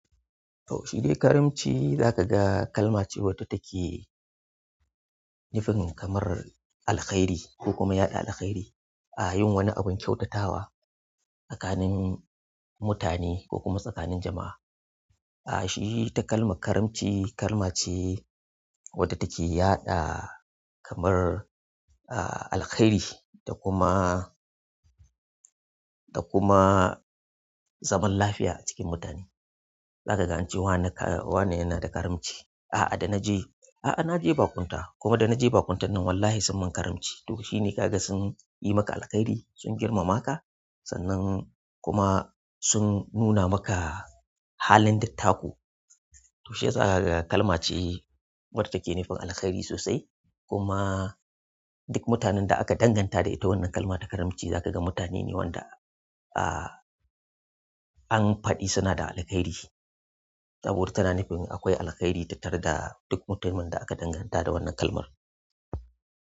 Shi dai karamci zakaga kalma ce wadda take nufin kamar alkhairi ko kuma yaɗa alkhairi a yin wani abin kyautatawa tsakanin mutane ko kuma tsakanin jama'a. Shi takalman karamci kalma ce wadda take yaɗa kamar alkhairi da kuma zaman lafiya a cikin mutane. Za ka ga an ce wane yana da karamci. Da na je baƙunta kuma da na je bakuntan nan wallahi sun mun karamci to shine ka ga sun yi maka alkhairi, sun girmama ka sannan kuma sun nuna maka halin dattako. To shi yasa za ka ga kalma ce wadda take nufin alkhairi sosai. Kuma duk mutanen da aka danganta da ita wannan kalma ta karamci za ka ga mutane ne wanda an faɗi suna da alkhairi. Saboda tana nufin akwai alkhairi tattara da duk mutumin da aka danganta da wannan kalmar.